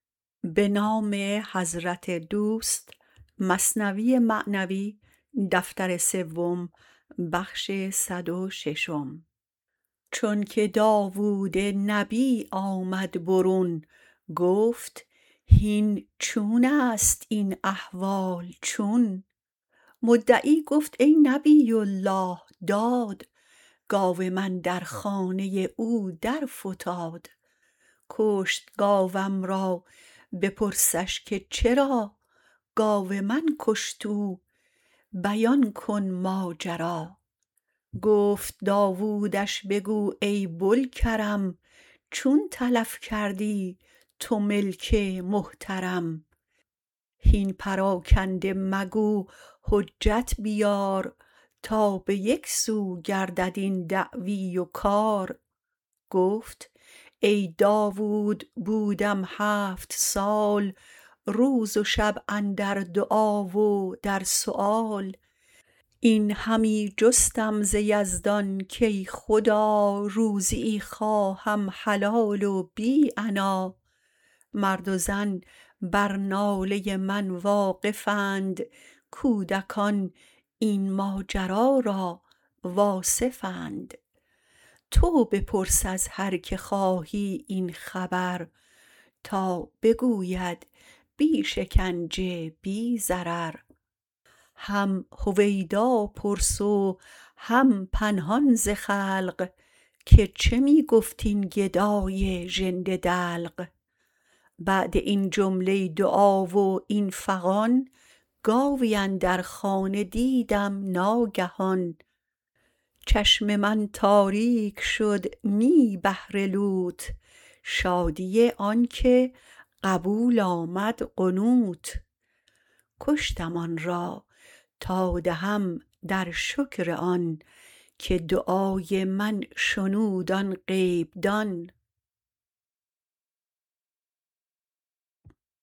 چونک داود نبی آمد برون گفت هین چونست این احوال چون مدعی گفت ای نبی الله داد گاو من در خانه او درفتاد کشت گاوم را بپرسش که چرا گاو من کشت او بیان کن ماجرا گفت داودش بگو ای بوالکرم چون تلف کردی تو ملک محترم هین پراکنده مگو حجت بیار تا به یک سو گردد این دعوی و کار گفت ای داود بودم هفت سال روز و شب اندر دعا و در سؤال این همی جستم ز یزدان کای خدا روزیی خواهم حلال و بی عنا مرد و زن بر ناله من واقف اند کودکان این ماجرا را واصف اند تو بپرس از هر که خواهی این خبر تا بگوید بی شکنجه بی ضرر هم هویدا پرس و هم پنهان ز خلق که چه می گفت این گدای ژنده دلق بعد این جمله دعا و این فغان گاوی اندر خانه دیدم ناگهان چشم من تاریک شد نه بهر لوت شادی آن که قبول آمد قنوت کشتم آن را تا دهم در شکر آن که دعای من شنود آن غیب دان